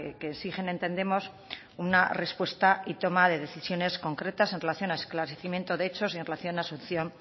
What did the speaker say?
que exigen entendemos una respuesta y toma de decisiones concretas en relación a esclarecimiento de hechos y en relación a la asunción